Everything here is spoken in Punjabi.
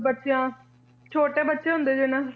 ਬੱਚਿਆਂ ਛੋਟੇ ਬੱਚੇ ਹੁੰਦੇ ਨੇ ਨਾ